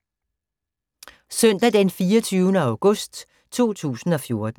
Søndag d. 24. august 2014